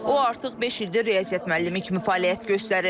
O artıq beş ildir riyaziyyat müəllimi kimi fəaliyyət göstərir.